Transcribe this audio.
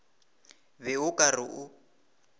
be o ka re o